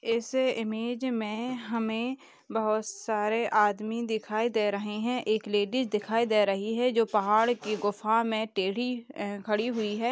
इस इमेज में हमें बहुत सारे आदमी दिखाई दे रहे हैं। एक लेडीज दिखाई दे रही है जो पहाड़ की गुफाओ में टेढ़ी अ खड़ी हुई है।